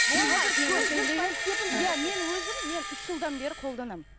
мен өзім мен үш жылдан бері қолданамын